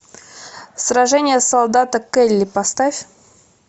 сражение солдата келли поставь